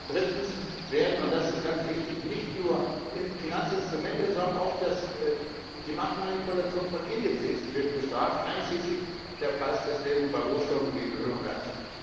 Drittens werden und das ist ganz wichtig nicht nur Finanzinstrumente, sondern auch die Marktmanipulation von Indizes bestraft, einschließlich der Preisfestlegung bei Rohstoffen wie Öl und Gas.